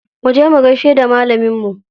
Muje mu gaishe da malaminmu.